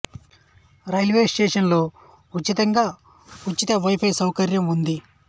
ఈ railway station లో ఉచితంగా ఉచిత వైపై సౌకర్యం ఉంది